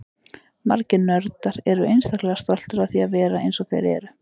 Margir nördar eru einstaklega stoltir af því að vera eins og þeir eru.